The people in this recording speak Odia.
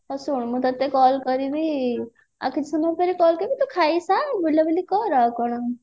ହଁ ଶୁଣ ମୁଁ ତତେ call କରିବି ତୁ ଖାଇ ସାର ବୁଲାବୁଲି କର ଆଉ